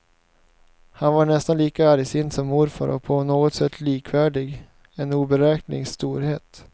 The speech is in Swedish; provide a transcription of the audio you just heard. Han var nästan lika argsint som morfar och på något sätt likvärdig, en oberäknelig storhet.